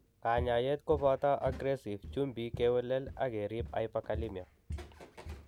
Kanyaayet kobooto aggresive chumbik kewelel ak kerib hyperkalemia.